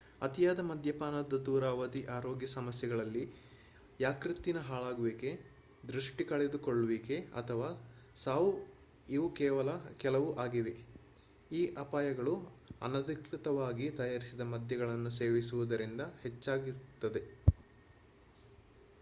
ಅತಿಯಾದ ಮದ್ಯಪಾನದ ದೂರಾವಧಿ ಆರೋಗ್ಯ ಸಮಸ್ಯೆಗಳಲ್ಲಿ ಯಕೃತ್ತಿನ ಹಾಳಾಗುವಿಕೆ ದೃಷ್ಟಿ ಕಳೆದುಕೊಳ್ಳುವಿಕೆ ಅಥವಾ ಸಾವು ಇವೂ ಕೆಲವು ಆಗಿವೆ ಈ ಅಪಾಯಗಳು ಅನಧಿಕೃತವಾಗಿ ತಯಾರಿಸಿದ ಮದ್ಯಗಳನ್ನು ಸೇವಿಸುವುದರಿಂದ ಹೆಚ್ಚಾಗುತ್ತದೆ